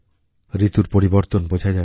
ঋতুর পরিবর্তন বোঝা যাচ্ছে